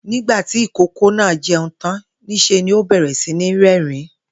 Nígbà tí ìkókó náà je̩un tán, nís̩e ni ó bè̩rè̩ sí ní ré̩rìn-ín